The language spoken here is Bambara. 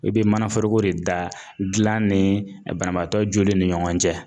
I bɛ mana forogo de da dilan ni banabaatɔ joli ni ɲɔgɔn cɛ.